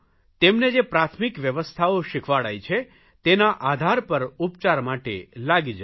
તેમને જે પ્રાથમિક વ્યવસ્થાઓ શીખવાડાઇ છે તેના આધાર પર ઉપચાર માટે લાગી જવું